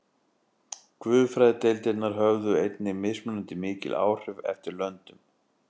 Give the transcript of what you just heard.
Guðfræðideildirnar höfðu einnig mismunandi mikil áhrif eftir löndum.